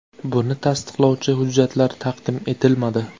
Buni tasdiqlovchi hujjatlar taqdim etilmadi.